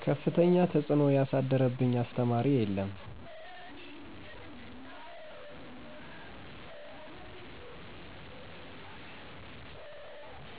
ከፍተኛ ተፅዕኖ ያሳደረብኝ አስተማሪ የለም።